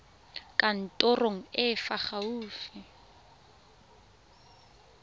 kantorong e e fa gaufi